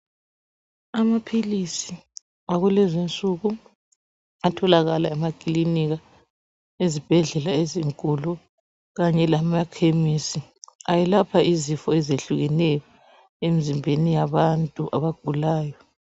Amaphilisi akulezinsuku atholakala emakilinika, ezibhedlela ezinkulu kanye lamakhemisi ayelapha izifo ezehlukeneyo emizimbeni yabantu abagulayo.